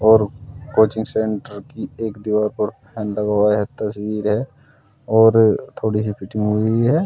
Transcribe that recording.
और coaching centre की एक दीवार पर फैन लगा हुआ है तस्वीर है और थोड़ी सी फिटिंग हुई है।